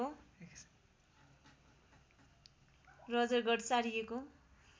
Roger गढ सारिएको